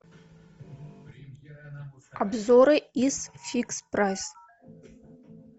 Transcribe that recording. обзоры из фикс прайс